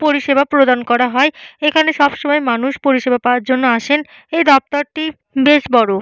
পরিষেবা প্রদান করা হয়। এখানে সবসময় মানুষ পরিষেবা পাওয়ার জন্য আসেন। এই দফতর টি বেশ বড়।